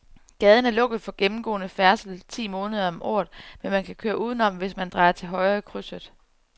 Gaden er lukket for gennemgående færdsel ti måneder om året, men man kan køre udenom, hvis man drejer til højre i krydset.